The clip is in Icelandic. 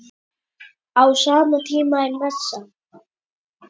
Á sama tíma er messa.